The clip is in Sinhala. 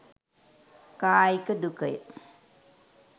කායික දුකය.